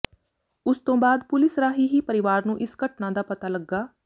ਉਸ ਤੋਂ ਬਾਅਦ ਪੁਲੀਸ ਰਾਹੀਂ ਹੀ ਪਰਿਵਾਰ ਨੂੰ ਇਸ ਘਟਨਾ ਦਾ ਪਤਾ ਲੱਗਾ